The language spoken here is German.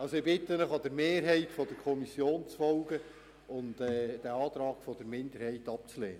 Ich bitte Sie, der Mehrheit der Kommission zu folgen und den Antrag der Minderheit abzulehnen.